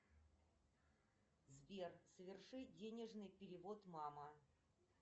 сбер соверши денежный перевод мама